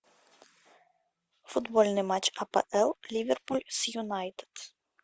футбольный матч апл ливерпуль с юнайтед